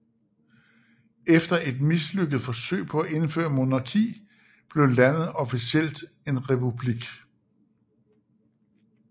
Efter et mislykket forsøg på at indføre monarki blev landet officielt en republik